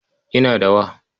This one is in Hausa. Ina da wa.